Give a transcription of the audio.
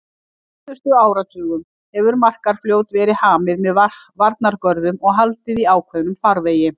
Á síðustu áratugum hefur Markarfljót verið hamið með varnargörðum og haldið í ákveðnum farvegi.